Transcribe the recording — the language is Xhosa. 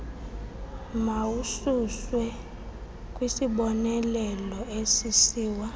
mawususwe kwisiboneleelo usisiwa